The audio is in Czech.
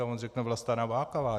A on řekne: Vlasta Nováková.